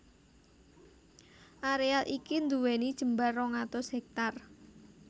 Areal iki nduweni jembar rong atus hèktar